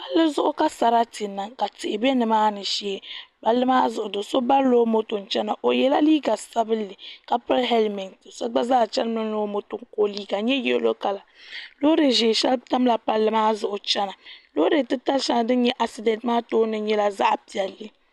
Palli zuɣu ka sarati niŋ ka tihi bɛ nimaani shee palli maa zuɣu do so barila o moto chɛna o yɛla liiga sabinli ka pili hɛlmɛnt so gba zaa chɛnimi ni o moto ka o liiga nyɛ yɛlo kala loori ʒiɛ shɛli tamla palli maa zuɣu chɛna loori titali shɛli din nyɛ asidɛnt maa nyɛla zaɣ piɛlli